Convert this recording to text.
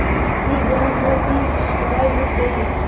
कि जन्म भर की कमाई लुट गयी